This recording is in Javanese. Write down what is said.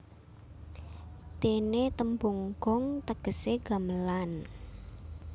Dene tembung gong tegese gamelan